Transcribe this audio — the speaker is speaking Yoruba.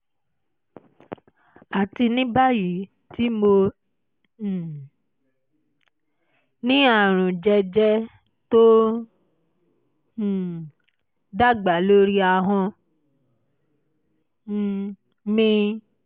àti ní báyìí tí mo um ní àrùn jẹ́jẹ̀ tó ń um dàgbà lórí ahọ́n um mi